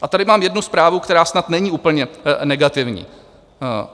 A tady mám jednu zprávu, která snad není úplně negativní.